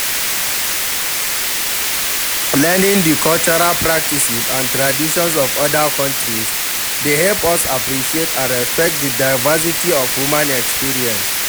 Learning di cultural practices and traditions of oda countries dey help us appreciate and respect di diversity of human experience.